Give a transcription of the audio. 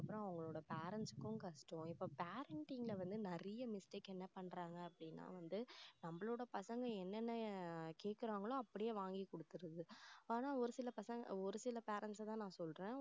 அப்புறம் அவங்களோட parents க்கும் கஷ்டம். இப்போ parenting ல வந்து நிறைய mistake என்ன பண்றாங்க அப்படின்னா வந்து நம்மளோட பசங்க என்னென்ன கேக்குறாங்களோ அப்படியே வாங்கி கொடுத்திடுறது ஆனா ஒரு சில பசங்க ஒரு சில parents அ தான் நான் சொல்றேன்